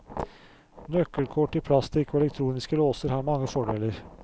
Nøkkelkort i plastikk og elektroniske låser har mange fordeler.